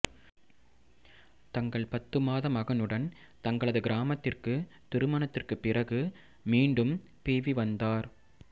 தங்கள் பத்து மாத மகனுடன் தங்களது கிராமத்திற்கு திருமணத்திற்குப் பிறகு மீண்டும் பீவி வந்தார்